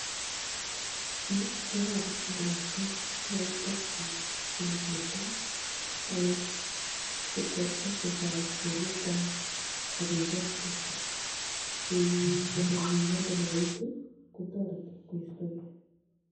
Yu ko baba ak lakwet cheoe practice chebo borto sikwai exercise borwekwok akoek healthy singotko kami miando nekaitu kotoreti koistogei.